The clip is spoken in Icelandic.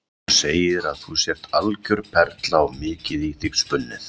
Hún segir að þú sért algjör perla og mikið í þig spunnið.